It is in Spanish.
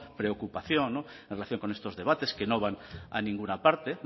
preocupación en relación con estos debates que no van a ninguna parte